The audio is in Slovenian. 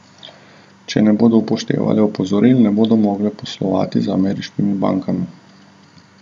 Če ne bodo upoštevale opozoril, ne bodo mogle poslovati z ameriškimi bankami.